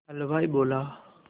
हलवाई बोला